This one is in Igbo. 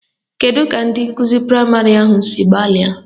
Kedu ka ndị nkụzi praịmarị ahụ si gbalịa?